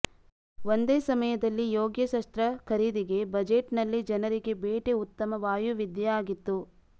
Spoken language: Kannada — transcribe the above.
ಒಂದೇ ಸಮಯದಲ್ಲಿ ಯೋಗ್ಯ ಶಸ್ತ್ರ ಖರೀದಿಗೆ ಬಜೆಟ್ ನಲ್ಲಿ ಜನರಿಗೆ ಬೇಟೆ ಉತ್ತಮ ವಾಯುವಿದ್ಯೆ ಆಗಿತ್ತು